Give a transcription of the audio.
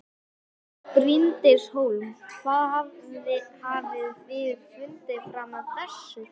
Bryndís Hólm: Hvað hafið þið fundið fram að þessu?